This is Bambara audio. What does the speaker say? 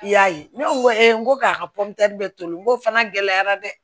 I y'a ye ne ko e ko k'a ka bɛ toli n ko fana gɛlɛyara dɛ